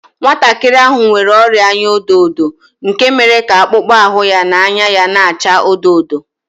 Nwantakịrị ahụ nwere ọrịa anya ọdọ ọdọ nke mere ka akpụkpọ ahụ na anya ya na-acha odo odo